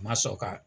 Ma sɔrɔ ka